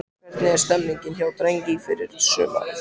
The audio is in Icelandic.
Hvernig er stemningin hjá Drangey fyrir sumarið?